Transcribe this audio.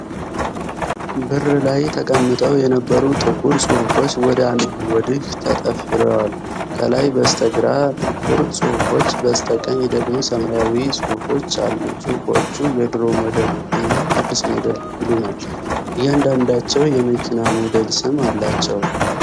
ብር ላይ ተቀምጠው የነበሩ ጥቁር ጽሑፎች ወዲያና ወዲህ ተጠፍረዋል። ከላይ በስተግራ ጥቁር ጽሑፎች፣ በስተቀኝ ደግሞ ሰማያዊ ጽሑፎች አሉ። ጽሑፎቹ "የድሮ ሞዴል" እና "አዲስ ሞዴል" ይሉናል። እያንዳንዳቸው የመኪና ሞዴል ስም አላቸው።